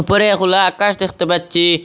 ওপরে খোলা আকাশ দেখতে পাচ্চি।